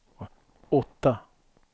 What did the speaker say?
åtta